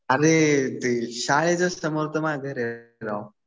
अरे ते शाळेच्या समोर तर माझं घर आहे राव.